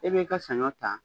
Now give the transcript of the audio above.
E bɛ i ka saɲɔ ta